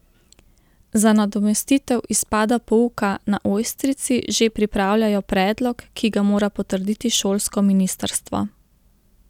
Za nadomestitev izpada pouka na Ojstrici že pripravljajo predlog, ki ga mora potrditi šolsko ministrstvo.